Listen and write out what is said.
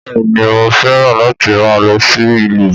Bẹ́ẹ̀ni mo fẹ́ràn láti máa lọ sí ìlú